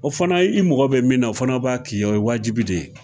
O fana ye i mako bɛ min na o fana b'a k'i ye o ye waajibi de ye.